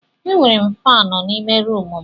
Ee, M nwere faani n'ime rumụ m.